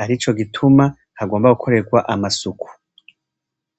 .Harico gituma hagombwa gukoregwa amasuku